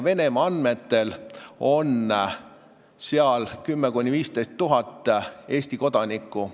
Venemaa andmetel on seal 10 000 – 15 000 Eesti kodanikku.